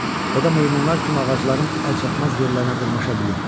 O da meymunlar kimi ağacların əlçatmaz yerlərinə dırmaşa bilir.